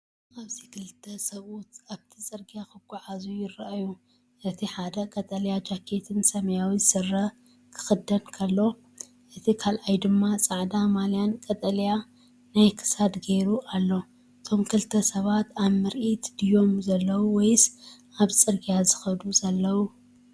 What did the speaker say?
ኣብዚ ክልተ ሰብኡት ኣብቲ ጽርግያ ክጓዓዙ ይረኣዩ። እቲ ሓደ ቀጠልያ ጃኬትን ሰማያዊ ስረ ክኽደን ከሎ፡ እቲ ካልኣይ ድማ ጻዕዳ ማልያን ቀጠልያ ናይ ክሳድ ገይሩ ኣሎ። እዞም ክልተ ሰባት ኣብ ምርኢት ድዮም ዘለዉ ወይስ ኣብ ጽርግያ ዝኸዱ ዘለዉ?